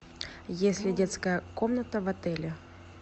есть ли детская комната в отеле